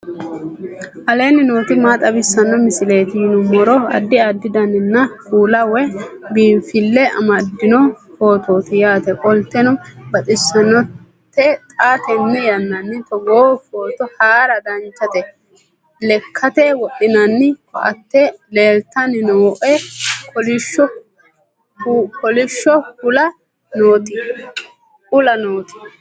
aleenni nooti maa xawisanno misileeti yinummoro addi addi dananna kuula woy biinfille amaddino footooti yaate qoltenno baxissannote xa tenne yannanni togoo footo haara danchate lekkate wodhinanni koate leltanni nooe kolisho uulla nooti